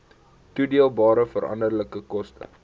toedeelbare veranderlike koste